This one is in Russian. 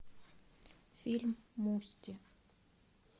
фильм мусти